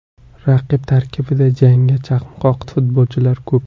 Raqib tarkibida jangga chanqoq futbolchilar ko‘p.